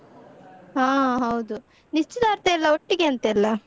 ಹಾ ಹೌದು, ನಿಶ್ಚಿತಾರ್ಥಯೆಲ್ಲ ಒಟ್ಟಿಗೆ ಅಂತೆಲ್ಲಾ?